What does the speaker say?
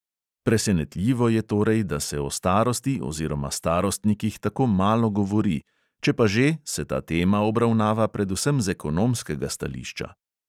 Presenetljivo je torej, da se o starosti oziroma starostnikih tako malo govori, če pa že, se ta tema obravnava predvsem z ekonomskega stališča.